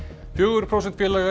fjögur prósent félaga í